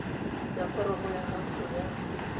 ya foromo ya gago ya